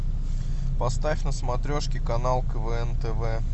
поставь на смотрешке канал квн тв